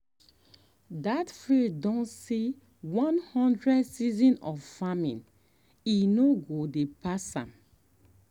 that field don um see one um hundred season of farming e no dey um pass am.